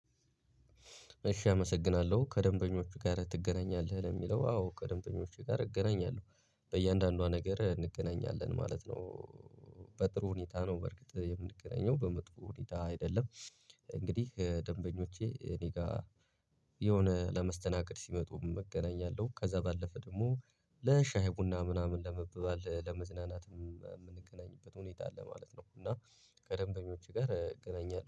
እሺ አመሰግናለሁ ከደንበኞቹ ጋር ትገናኛለህ ለሚለው ዋው ከደንበኞቸ ጋር እገናኛለሁ በእያንዳንዷ ነገር እንገናኛለን ማለት ነው። በጥሩ ሁኔታ ነው በርግጥ የምንገናኘው በመጥፎ ሁኔታ አይደለም። እንግዲህ ደንበኞቼ እኔ ጋር የሆነ ለመስተናገድ ሲመጡ እገናኛለሁ። ከዛ ባለፈ ደግሞ ለሻይ ቡና ምናምን ለመበባል ለመዝናናትም የምንገናኝበት ሁኔታ አለ ማለት ነው። እና ከደንበኞች ጋር እገናኛለሁ